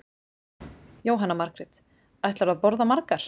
Jóhanna Margrét: Ætlarðu að borða margar?